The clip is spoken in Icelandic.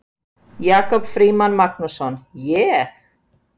Jakob Frímann Magnússon: Ég?